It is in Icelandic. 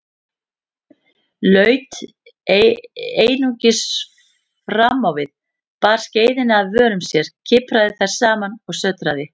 Laut einungis framávið, bar skeiðina að vörum sér, kipraði þær saman og sötraði.